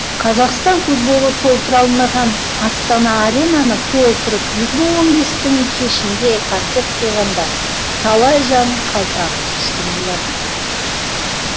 қазақстан футболы толтыра алмаған астана аренаны толтырып екі мың он бестің кешінде концерт қойғанда талай жан қалпағын шешкен болатын